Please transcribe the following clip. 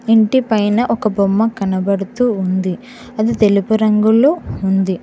ఇంటి పైన ఒక బొమ్మ కనపడుతూ ఉంది అది తెలుపు రంగులో ఉంది.